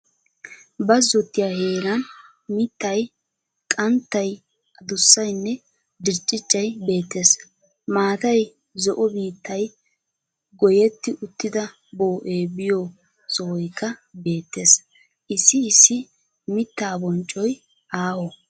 Bazzotiya heeran mittay, qanttay, addussaynne dircciccay bettees. Maatay zo"o biittay goyetti uttida bo'ee biyo sohoykka bettees. Issi issi miitaa bonccoy aaho.